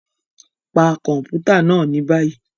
Pa kọmputa naa ni bayi!